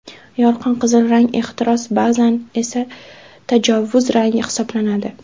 Yorqin qizil rang ehtiros, ba’zan esa tajovuz rangi hisoblanadi.